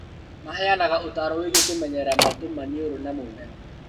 Maheanaga ũtaaro wĩgiĩ kũmenyerera matũ, maniũrũna mũmero